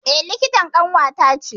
E likitan ƙanwata ce.